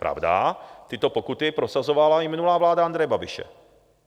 Pravda, tyto pokuty prosazovala i minulá vláda Andreje Babiše.